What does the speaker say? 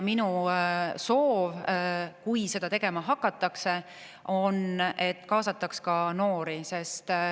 Minu soov on, et kui seda tegema hakatakse, kaasataks ka noori.